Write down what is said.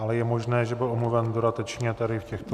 Ale je možné, že byl omluven dodatečně tady v těchto -